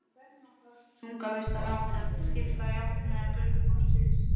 Þunga vistanna átti að skipta jafnt meðal göngufólksins.